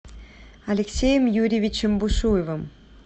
алексеем юрьевичем бушуевым